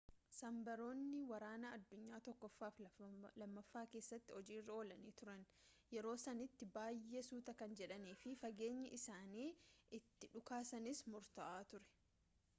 sabmariinonni waraana addunyaa 1ffaa fi 2ffaa keessatti hojiirra oolanii turan yeroo sanitti baay'ee suuta kan jedhaniifi fageenyi isaan itti dhukaasanis murtaawaa ture